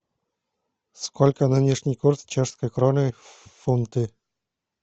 сколько нынешний курс чешской кроны в фунты